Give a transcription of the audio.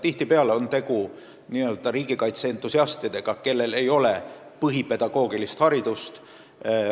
Tihtipeale on tegu n-ö riigikaitse entusiastidega, kellel ei ole pedagoogilist põhiharidust.